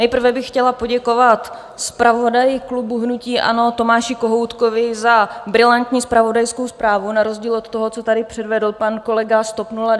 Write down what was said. Nejprve bych chtěla poděkovat zpravodaji klubu hnutí ANO Tomáši Kohoutkovi za brilantní zpravodajskou zprávu na rozdíl od toho, co tady předvedl pan kolega z TOP 09 Kolář.